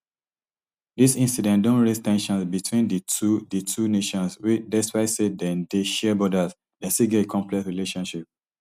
dis incident don raise ten sions between di two di two nations wey despite say dem dey share borders dem still get a complex relationship